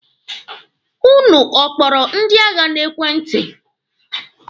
Ụnụ ọ kpọrọ ndị agha n'ekwenti?